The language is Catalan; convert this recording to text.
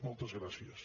moltes gràcies